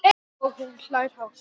Og hún hlær hátt.